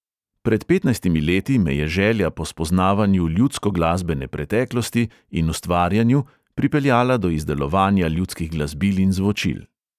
Pred petnajstimi leti me je želja po spoznavanju ljudskoglasbene preteklosti in ustvarjanju pripeljala do izdelovanja ljudskih glasbil in zvočil.